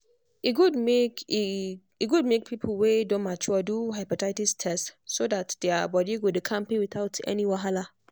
e good make e good make people wey don mature do hepatitis test so that their body go dey kampe without any wahala.